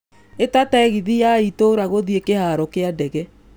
Ĩta tegithi ya ĩtura guthiĩ kĩharo ya ndege